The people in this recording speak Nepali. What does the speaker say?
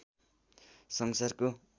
संसारको